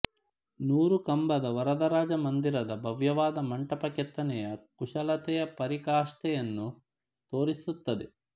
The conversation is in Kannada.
ನೂರು ಕಂಬದ ವರದರಾಜಮಂದಿರದ ಭವ್ಯವಾದ ಮಂಟಪ ಕೆತ್ತನೆಯ ಕುಶಲತೆಯ ಪರಿಕಾಷ್ಠೆಯನ್ನು ತೋರಿಸುತ್ತದೆ